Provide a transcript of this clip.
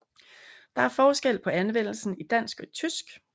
Der er forskel på anvendelsen i dansk og i tysk